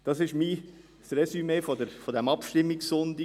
Das ist mein Resümee des Abstimmungssonntags.